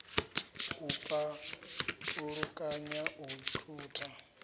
u pa ulukanya u thutha